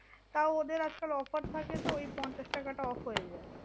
তাও ওদের আজকাল offer থাকে তো ওই পঞ্চাশ টাকাটা off হয়ে যায়।